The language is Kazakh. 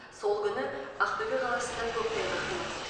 сол күні ақтөбе қаласында көктайғақ болады